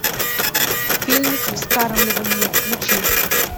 фильмик вскармливание включи